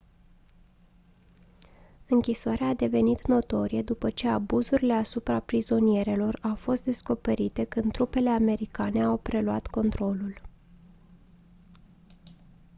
închisoarea a devenit notorie după ce abuzurile asupra prizonierilor au fost descoperite când trupele americane au preluat controlul